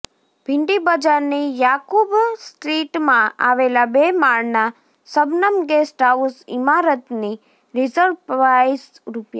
ભિંડી બજારની યાકુબ સ્ટ્રીટમાં આવેલા બે માળના શબનમ ગેસ્ટ હાઉસ ઇમારતની રિઝર્વ પ્રાઇસ રૂ